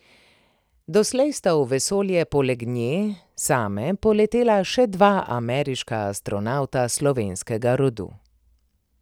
Doslej sta v vesolje poleg nje same poletela še dva ameriška astronavta slovenskega rodu.